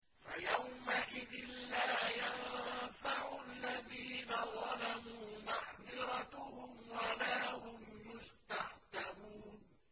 فَيَوْمَئِذٍ لَّا يَنفَعُ الَّذِينَ ظَلَمُوا مَعْذِرَتُهُمْ وَلَا هُمْ يُسْتَعْتَبُونَ